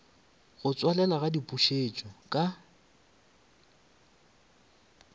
go tswalelwa ga dipušetšo ka